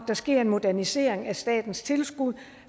der sker en modernisering af statens tilskud